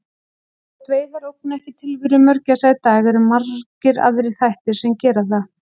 Þótt veiðar ógni ekki tilveru mörgæsa í dag eru margir aðrir þættir sem gera það.